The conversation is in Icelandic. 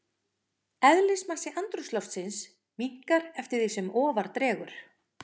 Eðlismassi andrúmsloftsins minnkar eftir því sem ofar dregur.